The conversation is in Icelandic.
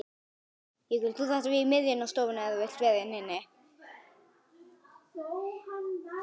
Þekkti hvern blett.